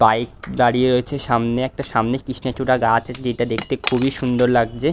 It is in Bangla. বাইক দাঁড়িয়ে রয়েছে সামনে। একটা সামনে কৃষ্ণচূড়া গাছ যেটা দেখতে খুবই সুন্দর লাগছে।